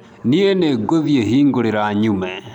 nĩi nĩ ngũthiĩ hingũrĩra nyume.